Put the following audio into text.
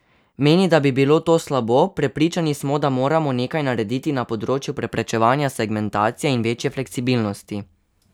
Meni, da bi bilo to slabo: "Prepričani smo, da moramo nekaj narediti na področju preprečevanja segmentacije in večje fleksibilnosti.